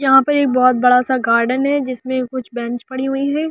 यहां पर एक बहुत बड़ा सा गार्डन है जिसमें कुछ बेंच पड़ी हुई हैं।